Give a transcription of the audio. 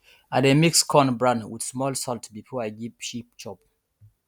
i dey mix corn bran with small salt before i give sheep chop